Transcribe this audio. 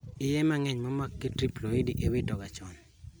Iye mang'eny momaki gi triploidy iwito ga chon